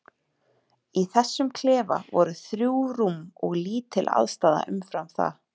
Í þessum klefa voru þrjú rúm og lítil aðstaða umfram það.